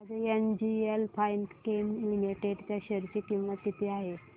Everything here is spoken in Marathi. आज एनजीएल फाइनकेम लिमिटेड च्या शेअर ची किंमत किती आहे